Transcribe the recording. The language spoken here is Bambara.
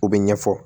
U bɛ ɲɛfɔ